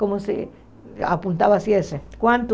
Como se apontava assim, quanto?